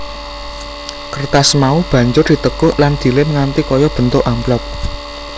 Kertas mau banjur ditekuk lan dilèm nganti kaya bentuk amplop